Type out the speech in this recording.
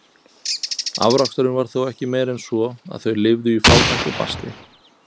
Afraksturinn var þó ekki meiri en svo, að þau lifðu í fátækt og basli.